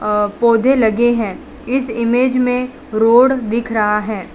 अ पौधे लगे है इस इमेज में रोड दिख रहा है।